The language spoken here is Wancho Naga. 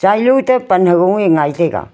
chailo to pan hagung ee ngai taiga.